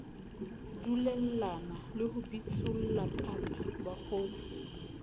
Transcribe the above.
dulellana le ho bitsollakaka bakgotsi